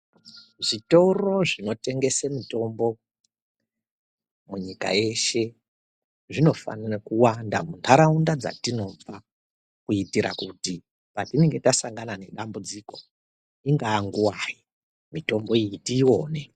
Zvitoro zvinotengese mitombo munyika yeshe zvinofanira kuwanda munharaunda dzatinobva kuitira kuti patinenge tasangana nedambudziko ingaa nguwai mitombo iyi tiiwone.